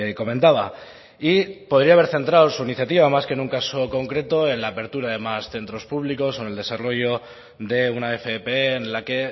comentaba y podría haber centrado su iniciativa más que en un caso concreto en la apertura de más centros públicos o en el desarrollo de una fp en la que